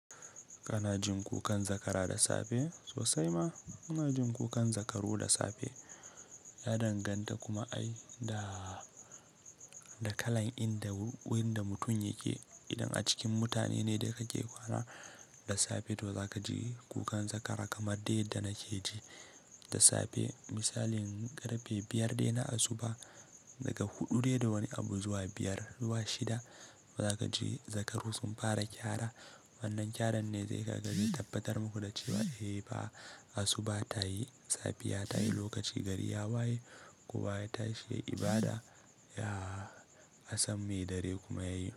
Kana jin kukan zakara da safe? Sosai ma muna jin kukan zakaru da safe. Ya danganta kuma ai da, da kalan inda wurin da mutum yake. Idan a cikin mutane ne da kake kwana da safe to za ka ji kukan zakara kamar dai yadda nake ji da safe. Misalin karfe biyar dai na asuba daga huɗu dai da wani abu zuwa biyar zuwa shida, to za ka ji zakaru sun fara kyara. Wannan kyaran ne zai ka ga zai tabbatar muku da cewa eh fa asuba ta yi, safiya ta yi, lokaci gari ya waye kowa ya tashi ya yi ibada, ya asam mai dare kuma ya yi.